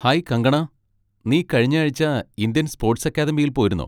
Hi Kangana, നീ കഴിഞ്ഞ ആഴ്ച്ച ഇന്ത്യൻ സ്പോട്സ് അക്കാദമിയിൽ പോയിരുന്നോ?